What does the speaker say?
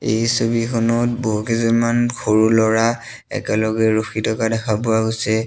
এই ছবিখনত বহুকেইজনমান সৰু ল'ৰা একেলগে ৰখি থকা দেখা পোৱা গৈছে।